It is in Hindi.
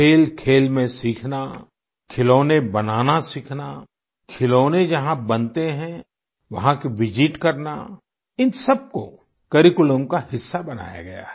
खेलखेल में सीखना खिलौने बनाना सीखना खिलौने जहां बनते हैं वहाँ की विसित करना इन सबको करिकुलम का हिस्सा बनाया गया है